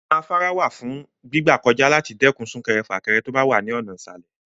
Ọ̀nà afárá wà fún gbígbà kọjá láti lè dẹ́kun sún-kẹrẹ-fà-kẹre tó bá wà ní ọ̀nà ìsàlè.